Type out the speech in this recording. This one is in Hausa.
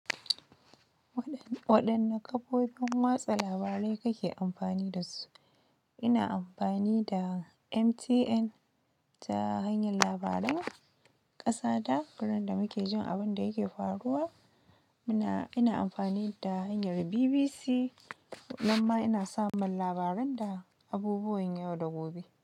Waɗanne kafofin watsa labarai kake amfani da su? Ina amfani da MTN, ta hanyar labaran ƙasa da gurin da muke jin abun da yake faruwa muna, ina amfani da hanyar BBC, nan ma ina samun labaran da abubuwan yau da gobe.